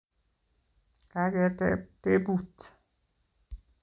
Kaketeb tebut